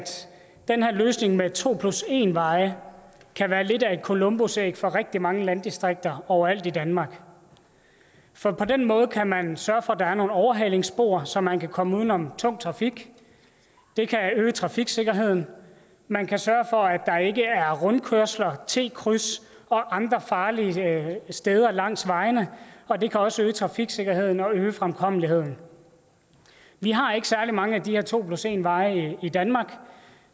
den her løsning med to plus en veje kan være lidt af et columbusæg for rigtig mange landdistrikter overalt i danmark for på den måde kan man sørge for at der er nogle overhalingsspor så man kan komme uden om tung trafik det kan øge trafiksikkerheden man kan sørge for at der ikke er rundkørsler t kryds og andre farlige steder langs vejene og det kan også øge trafiksikkerheden og øge fremkommeligheden vi har ikke særlig mange af de her to plus en veje i danmark